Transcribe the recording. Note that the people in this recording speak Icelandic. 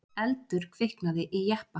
Eldur kviknaði í jeppa